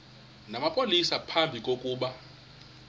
namapolisa phambi kokuba